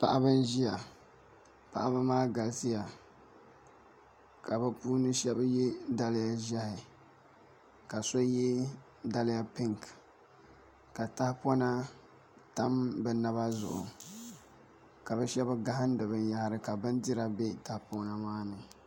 Paɣaba n ʒiya paɣaba maa galisiya ka bi puuni shab yɛ daliya ʒiɛhi ka so yɛ daliya pinki ka tahapona tam bi naba zuɣu ka bi shab gahandi binyahari ka bindira bɛ tahapona maa ni